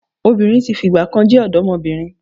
Obìnrin tí fìgbà kan jẹ́ ọ̀dọ́mọbìnrin